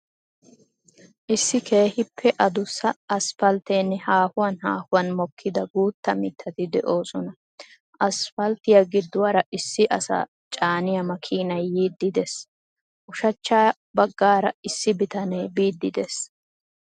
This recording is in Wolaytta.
Issi keehippe addussa aspalteenne haahuwan haahuwan mokkida guutta mittat de'osona. Aspalttiya giduwaara issi asa caaniya makiinay yiidi dees. Ushshachcha bagaara issi bitanee biidi dees.